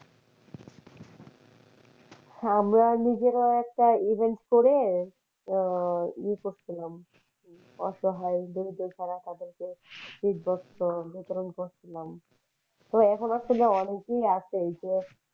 আমরা নিজেরাও একটা events করে আহ ইয়ে করসিলাম অসহায় দরিদ্র যারা তাদেরকে শীত বস্ত্র বিতরণ করেছিলাম